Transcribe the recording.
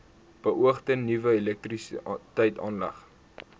beoogde nuwe elektrisiteitsaanlegte